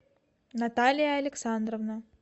наталья александровна